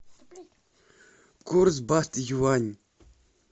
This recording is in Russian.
курс бат юань